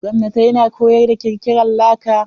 Gwamnatai na koyar da kirkiran laka.